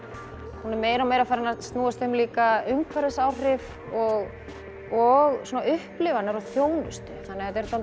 hún er meira og meira farin að snúast líka umhverfisáhrif og og svona upplifanir og þjónustu þannig að þetta er svolítið